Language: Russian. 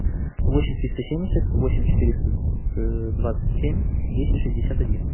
восемь триста семьдесят восемь четыреста двадцать семь десять шестьдесят один